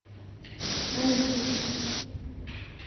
раисой